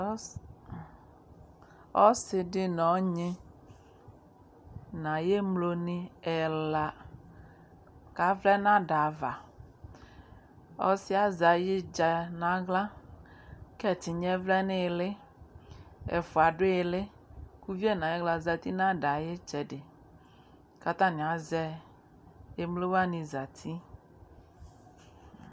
Ɔs ɔsɩ dɩ nʋ ɔnyɩ nʋ ayʋ emlonɩ ɛla, kavlɛ nʋ ada ava Ɔsɩ yɛ azɛ ayidzǝ nʋ aɣla kʋ ɛtɩnya yɛ vlɛ nʋ ɩɩlɩ Ɛfʋa dʋ ɩɩlɩ kʋ uvi yɛ nʋ ayɩɣla zati nʋ ada yɛ ayʋ ɩtsɛdɩ kʋ atanɩ azɛ emlo wanɩ zati